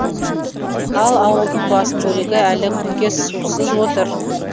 ал ауылдың басым бөлігі әлі күнге сусыз отыр